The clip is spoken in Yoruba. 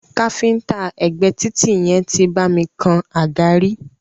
Káfíńńtà ẹ̀gbé títì yẹn tí bá mi kan àga rí.